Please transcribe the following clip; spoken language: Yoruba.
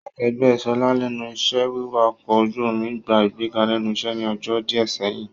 Akẹgbẹ Ṣọlá lẹ́nu iṣẹ́ wiwà ọkọ̀ ojú omi gbà ìgbéga lẹ́nu iṣẹ́ ní ọjọ́ díẹ̀ sẹ́yìn